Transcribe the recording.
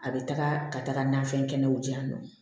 A bɛ taga ka taga nafɛn kɛnɛw diyan nɔ